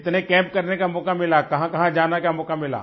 कितने कैम्प करने का मौका मिला कहाँकहाँ जाने का मौका मिला